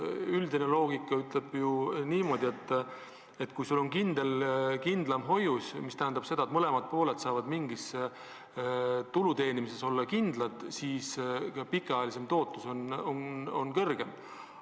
Üldine loogika ju ütleb niimoodi, et kui sul on kindlam hoius – see tähendab seda, et mõlemad pooled saavad mingi tulu teenimises kindlad olla –, siis pikemaajaline tootlus on suurem.